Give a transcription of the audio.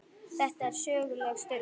Þetta er söguleg stund.